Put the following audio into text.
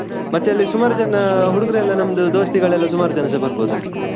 ಮತ್ತೆ ಅಲ್ಲಿ ಸುಮಾರ್ ಜನ ಹುಡುಗರೆಲ್ಲ ನಮ್ದು दोस्ती ಗಳಲ್ಲ ಸುಮಾರ್ ಜನಸ ಬರ್ಬೋದು ಅಲ್ಲಿ.